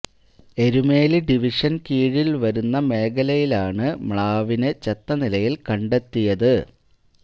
എരുമേലി ഡിവിഷന് കീഴില് വരുന്ന മേഖലയാണ് മ്ലാവിന് ചത്ത നിലയില് കണ്ടെത്തിയത്